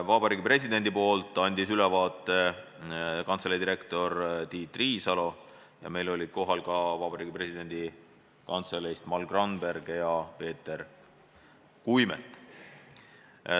Vabariigi Presidendi nimel andis ülevaate kantselei direktor Tiit Riisalo, kohal olid ka kantselei töötajad Mall Gramberg ja Peeter Kuimet.